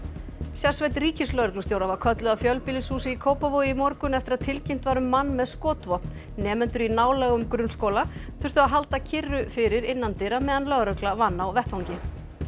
sérsveit ríkislögreglustjóra var kölluð að fjölbýlihúsi í Kópavogi í morgun eftir að tilkynnt var um mann með skotvopn nemendur í nálægum grunnskóla þurftu að halda kyrru fyrir innandyra meðan lögregla vann á vettvangi